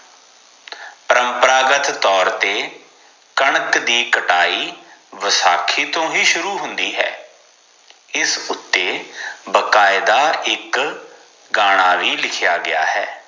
ਪ੍ਰੰਪਰਾਗਤ ਤੋਰ ਤੇ ਕਣਕ ਦੀ ਕਟਾਈ ਵਸਾਖੀ ਤੋਂ ਹੀ ਸ਼ੁਰੂ ਹੁੰਦੀ ਹੈ ਇਸ ਉਤੇ ਬਾਕਾਇਦਾ ਇਕ ਗਾਣਾ ਵੀ ਲਿਖਿਆ ਗਯਾ ਹੈ